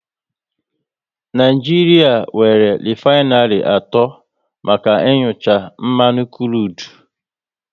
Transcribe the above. Naijiria nwéré refainary atọ maka inucha mmanụ krudu